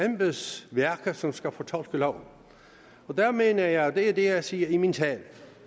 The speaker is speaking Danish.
embedsværket som skal fortolke loven og der mener jeg og det er det jeg siger i min tale